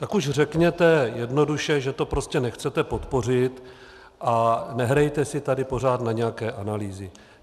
Tak už řekněte jednoduše, že to prostě nechcete podpořit, a nehrajte si tady pořád na nějaké analýzy.